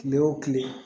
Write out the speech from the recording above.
Kile wo kile